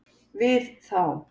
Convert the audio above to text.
við þá